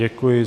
Děkuji.